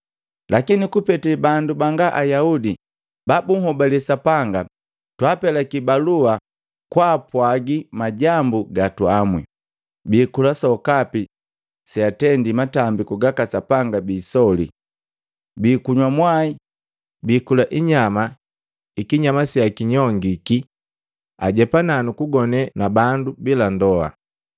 Lakini kupete bandu banga Ayaudi babuhobale Sapanga, twapelaki balua kwapwagi majambu ga tuamwi. Biikula sokapi seatendi matambiku gaka sapanga biisoli, biikunywa mwai, biikula inyama ikinyama seakinyongiki, ajepana nukugone na bandu bila ndoa.”